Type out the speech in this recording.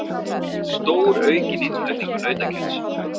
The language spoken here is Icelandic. Stóraukinn innflutningur nautakjöts